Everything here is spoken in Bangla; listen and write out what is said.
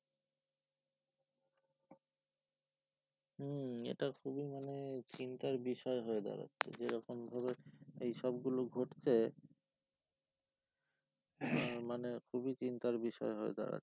হম এটা খুবই মানে চিন্তার বিষয় হয়ে দাঁড়াচ্ছে যেরকম ভাবে এইসবগুলো ঘটছে মানে খুবই চিন্তার বিষয় হয়ে দাঁড়ায়